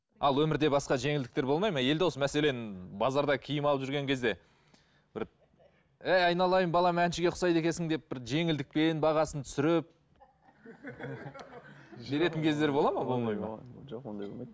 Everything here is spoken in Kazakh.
ал өмірде басқа жеңілдіктер болмай ма елдос мәселен базарда киім алып жүрген кезде бір ей айналайын балам әншіге ұқсайды екенсің деп бір жеңілдікпен бағасын түсіріп жіберетін кездер болады ма болмайды ма жоқ ондай болмайды